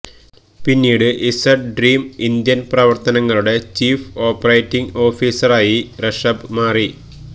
പിന്നീട് Z dream Indian പ്രവര്ത്തനങ്ങളുടെ chief operating ഓഫീസറായി ഋഷഭ് മാറി